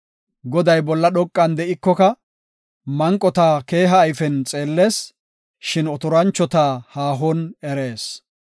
Goday bolla dhoqan de7ikoka, manqota keeha ayfen xeellees; shin otoranchota haahon erees.